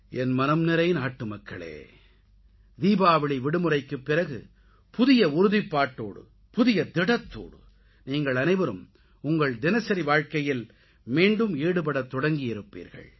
என் மனம்நிறை நாட்டுமக்களே தீபாவளி விடுமுறைக்குப் பிறகு புதிய உறுதிப்பாட்டோடு புதிய திடத்தோடு நீங்கள் அனைவரும் உங்களது தினசரி வாழ்க்கையில் மீண்டும் ஈடுபடத் தொடங்கியிருப்பீர்கள்